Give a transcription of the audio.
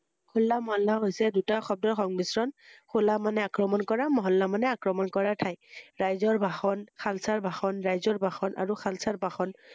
হোলা মহল্লা হৈছে দুটা সদৰ সংমিশ্ৰণ হোলা মানে আক্ৰমণ কৰা মহল্লা মানে আকক্ৰণ কৰা ঠাই ৷ ৰাইজৰ ভাষণ শালচাৰ ভাষণ ৰাইজৰ ভাষণ আৰু শালচাৰ ভাষণ ৷